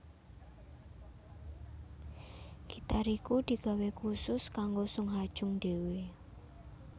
Gitar iku digawé kusus kanggo Sung Ha Jung dhéwé